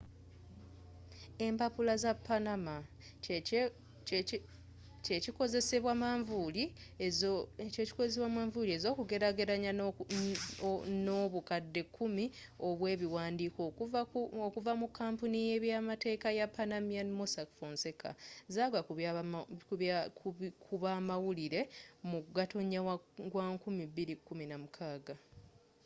empapula za panama” kyekikozesebwa manvuuli ez’okugelagelanya n’obukadde kumi obwebiwandiiko okuva mu kampuni y’ebyamateeka y’epanamanian mossack fonseca zagwakubamawulire mu gatonya wa 2016